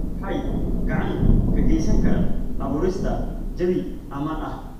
Waxay gacan ka geysan karaan abuurista jawi ammaan ah.